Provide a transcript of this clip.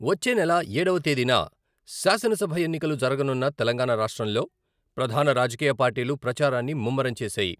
వచ్చే నెల ఏడవ తేదీన శాసనసభ ఎన్నికలు జరగనున్న తెలంగాణ రాష్ట్రంలో ప్రధాన రాజకీయ పార్టీలు ప్రచారాన్ని ముమ్మరం చేశాయి.